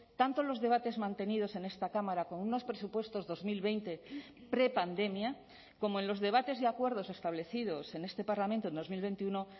tanto los debates mantenidos en esta cámara con unos presupuestos dos mil veinte prepandemia como en los debates y acuerdos establecidos en este parlamento en dos mil veintiuno